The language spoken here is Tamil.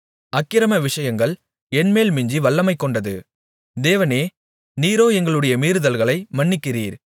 அக்கிரம விஷயங்கள் என்மேல் மிஞ்சி வல்லமைகொண்டது தேவனே நீரோ எங்களுடைய மீறுதல்களை மன்னிக்கிறீர்